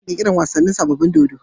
Zaka kara kirki rar sabobun wasanin dodo